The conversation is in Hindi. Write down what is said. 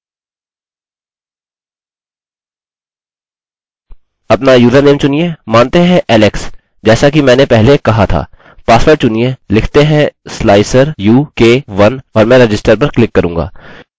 अतः रजिस्टर अपना यूज़रनेम चुनिए मानते हैं alex जैसा कि मैंने पहले कहा था पासवर्ड चुनिए लिखते हैं slicer u k 1 और मैं register पर क्लिक करूँगा